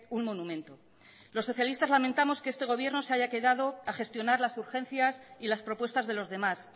un monumento los socialistas lamentamos que este gobierno se haya quedado a gestionar las urgencias y las propuestas de los demás